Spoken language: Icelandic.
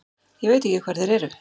Ég veit ekki hvar þeir eru.